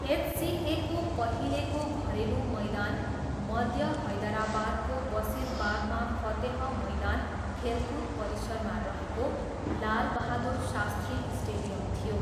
एचसिएको पहिलेको घरेलु मैदान मध्य हैदराबादको बसिरबागमा फतेह मैदान खेलकुद परिसरमा रहेको लालबहादुर शास्त्री स्टेडियम थियो।